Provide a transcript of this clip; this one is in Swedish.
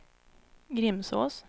Grimsås